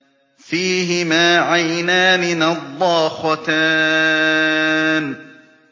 فِيهِمَا عَيْنَانِ نَضَّاخَتَانِ